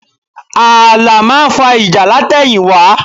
Ààlà máa ń fa ìjà látẹ̀yìnwá